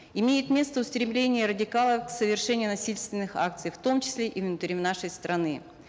имеет место устремление радикалов к совершению насильственных акций в том числе и внутри нашей страны